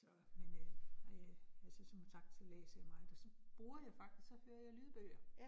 Så men øh, nej jeg som som sagt så læser jeg meget, og så bruger jeg faktisk, så hører jeg lydbøger